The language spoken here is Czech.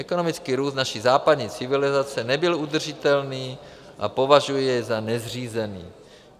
Ekonomický růst naší západní civilizace nebyl udržitelný a považuji jej za nezřízený.